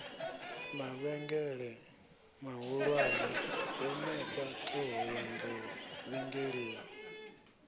mavhengele mahulwane henefha ṱhohoyanḓou vhengeleni